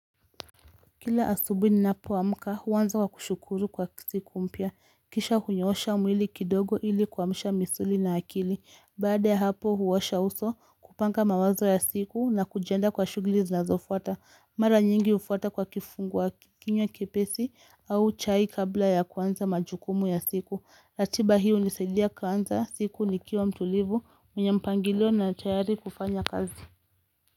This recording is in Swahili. Kila asubuhi ninapoamka huanza kwa kushukuru kwa siku mpya. Kisha hunyosha mwili kidogo ili kuamsha misuli na akili. Baada ya hapo huwasha uso kupanga mawazo ya siku na kujenda kwa shughuli zinazofota. Mara nyingi ufwata kwa kifungua kinywa kepesi au chai kabla ya kwanza majukumu ya siku. Latiba hii unisaidia kwanza siku ni kiwa mtulivu yenye mpangilio na tayari kufanya kazi.